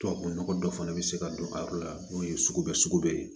Tubabu nɔgɔ dɔ fana bɛ se ka don a yɔrɔ la n'o ye sugubɛ sugubɛ ye